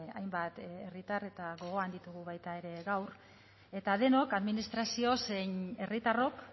hainbat herritar eta gogoan ditugu baita ere gaur eta denok administrazio zein herritarrok